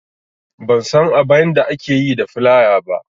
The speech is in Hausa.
Ban san abainda ake yi da filaya ba